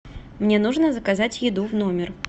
мне нужно заказать еду в номер